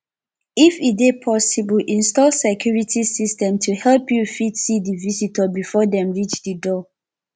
if e dey possible install security system to help you fit see di visitor before dem reach di door